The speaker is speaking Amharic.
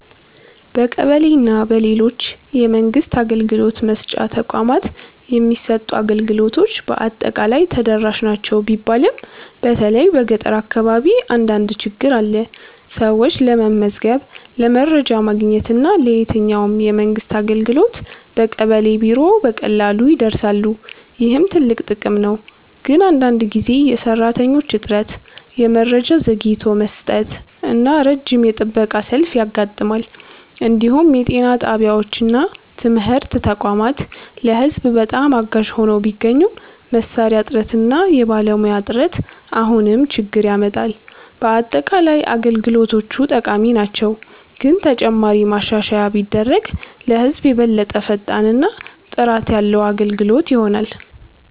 በቀበሌ እና በሌሎች የመንግስት አገልግሎት መስጫ ተቋማት የሚሰጡ አገልግሎቶች በአጠቃላይ ተደራሽ ናቸው ቢባልም በተለይ በገጠር አካባቢ አንዳንድ ችግኝ አለ። ሰዎች ለመመዝገብ፣ ለመረጃ ማግኘት እና ለየትኛውም የመንግስት አገልግሎት በቀበሌ ቢሮ በቀላሉ ይደርሳሉ፣ ይህም ትልቅ ጥቅም ነው። ግን አንዳንድ ጊዜ የሰራተኞች እጥረት፣ የመረጃ ዘግይቶ መስጠት እና ረጅም የጥበቃ ሰልፍ ያጋጥማል። እንዲሁም የጤና ጣቢያዎች እና ትምህርት ተቋማት ለህዝብ በጣም አጋዥ ሆነው ቢገኙም መሳሪያ እጥረት እና የባለሙያ እጥረት አሁንም ችግኝ ያመጣል። በአጠቃላይ አገልግሎቶቹ ጠቃሚ ናቸው፣ ግን ተጨማሪ ማሻሻያ ቢደረግ ለህዝብ የበለጠ ፈጣን እና ጥራት ያለ አገልግሎት ይሆናል።